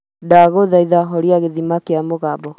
ndaguthaitha horia githima kia mũgambo